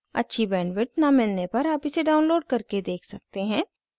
अच्छी bandwidth न मिलने पर आप इसे download करके देख सकते हैं